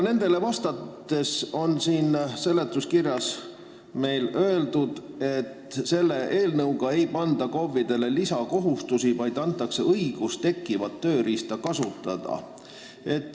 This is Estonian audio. Seletuskirjas on öeldud, et selle eelnõu kohaselt ei panda KOV-idele lisakohustusi, vaid antakse neile õigus tekkivat tööriista kasutada.